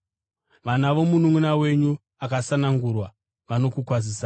Vana vomununʼuna wenyu akasanangurwa vanokukwazisai.